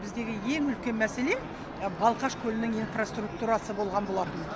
біздегі ең үлкен мәселе балқаш көлінің инфраструктурасы болған болатын